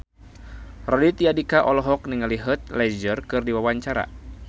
Raditya Dika olohok ningali Heath Ledger keur diwawancara